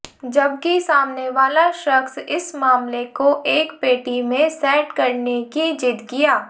जबकि सामने वाला शख्स इस मामले को एक पेटी में सेट करने की जिद किया